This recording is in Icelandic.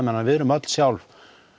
þannig að við erum öll sjálf